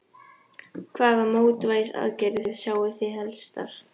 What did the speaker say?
Þóra Kristín Ásgeirsdóttir: Hvaða mótvægisaðgerðir sjái þið helstar?